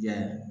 Yan